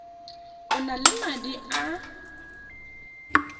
o na le madi a